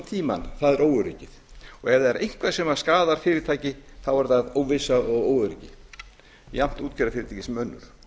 óöryggið og ef það er eitthvað sem skaðar fyrirtæki þá er það óvissa og óöryggi jafnt útgerðarfyrirtækja sem annarra